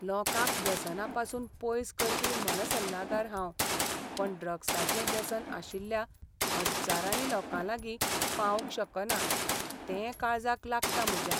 लोकांक व्यसनां पसून पयस करपी मनसल्लागार हांव, पूण ड्रग्साचें व्यसन आशिल्ल्या हज्जारांनी लोकांलागीं पावंक शकना तें काळजाक लागता म्हज्या.